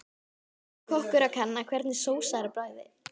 Eins og kokkur að kanna hvernig sósa er á bragðið.